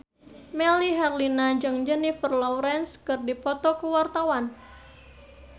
Melly Herlina jeung Jennifer Lawrence keur dipoto ku wartawan